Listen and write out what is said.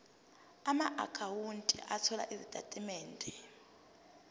amaakhawunti othola izitatimende